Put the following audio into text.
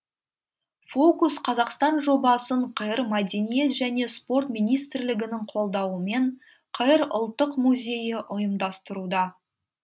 фокус қазақстан жобасын қр мәдениет және спорт министрлігінің қолдауымен қр ұлттық музейі ұйымдастыруда